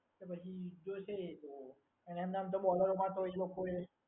પછી જોશે એ તો અને એમનેમ તો બોલરોમાં તો એ લોકો એ